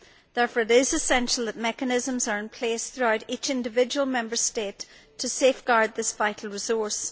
Therefore, it is essential that mechanisms are in place throughout each individual Member State to safeguard this vital resource.